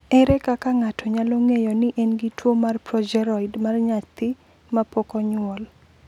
Ere kaka ng’ato nyalo ng’eyo ni en gi tuwo mar projeroid mar nyathi ma pok onyuol?